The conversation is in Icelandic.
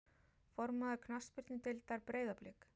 Formaður knattspyrnudeildar Breiðablik?